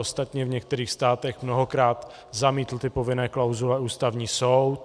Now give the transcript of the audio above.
Ostatně v některých státech mnohokrát zamítl ty povinné klauzule ústavní soud.